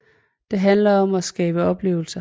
Det handler om at skabe oplevelser